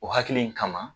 O hakili in kama